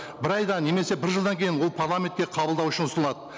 бір айда немесе бір жылдан кейін ол парламентке қабылдау үшін ұсынылады